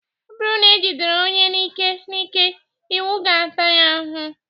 Ọ bụrụ na ejidere onye n'ike n'ike, iwu ga-ata ya ahụhụ